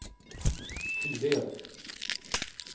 Tived